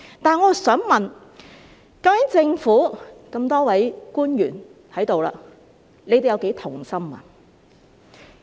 但是，我想問在這裏的多位政府官員，究竟你們又有多同心呢？